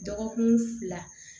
Dɔgɔkun fila